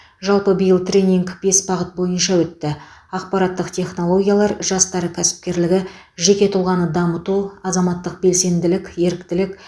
жалпы биыл тренинг бес бағыт бойынша өтті ақпараттық технологиялар жастар кәсіпкерлігі жеке тұлғаны дамыту азаматтық белсенділік еріктілік